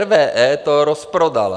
RWE to rozprodala.